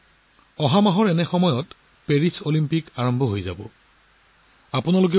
মোৰ বিশ্বাস যে আপোনালোক সকলোৱেও অলিম্পিক গেমছত ভাৰতীয় খেলুৱৈৰ উৎসাহ বৃদ্ধি কৰিবলৈ অপেক্ষা কৰি আছে